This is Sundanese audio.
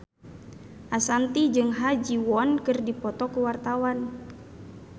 Ashanti jeung Ha Ji Won keur dipoto ku wartawan